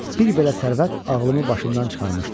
Bir belə sərvət ağlımı başımdan çıxarmışdı.